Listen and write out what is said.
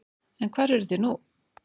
En hvar eruð þið nú?